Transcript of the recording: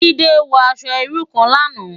Jide wò aṣò irú kán làná